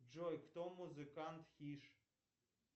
джой кто музыкант киш